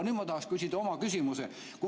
Nüüd ma tahaksin küsida oma küsimuse.